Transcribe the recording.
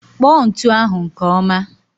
Kpọ ntụ ahụ nke ọma